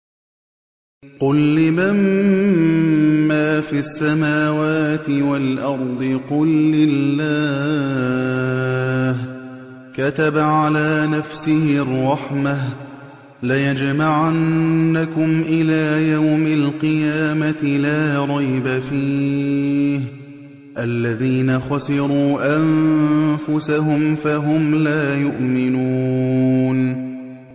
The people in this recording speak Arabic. قُل لِّمَن مَّا فِي السَّمَاوَاتِ وَالْأَرْضِ ۖ قُل لِّلَّهِ ۚ كَتَبَ عَلَىٰ نَفْسِهِ الرَّحْمَةَ ۚ لَيَجْمَعَنَّكُمْ إِلَىٰ يَوْمِ الْقِيَامَةِ لَا رَيْبَ فِيهِ ۚ الَّذِينَ خَسِرُوا أَنفُسَهُمْ فَهُمْ لَا يُؤْمِنُونَ